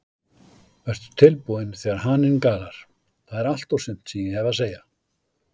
Vertu tilbúinn þegar haninn galar, það er allt og sumt sem ég hef að segja.